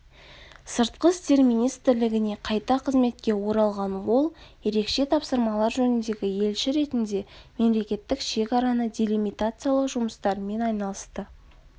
сыртқы істер министрлігіне қайта қызметке оралған ол ерекше тапсырмалар жөніндегі елші ретінде мемлекеттік шекараны делимитациялау жұмыстарымен айналысты